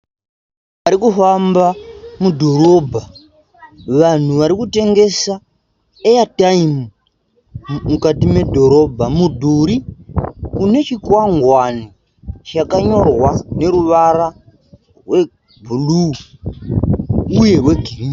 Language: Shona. Vanhu varikufamba mudhorobha. Vanhu varikutengesa (airtime) mukati medhorobha. Mudhuri une chikwangwani chakanyorwa neruvara rwebhuruu uye rwegirinhi.